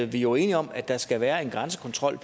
vi jo er enige om at der pt skal være en grænsekontrol